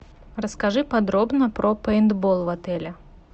расскажи подробно про пейнтбол в отеле